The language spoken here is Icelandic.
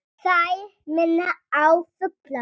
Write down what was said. Þær minna á fugla.